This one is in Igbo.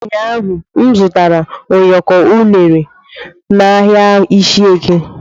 ụnyahụ m zụtara ụyọkọ unere na ahịa ishieke.